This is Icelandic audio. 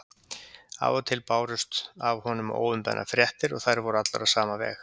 Af og til bárust af honum óumbeðnar fréttir og þær voru allar á sama veg.